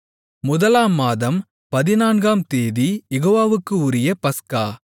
முதலாம் மாதம் பதினான்காம் தேதி யெகோவாவுக்கு உரிய பஸ்கா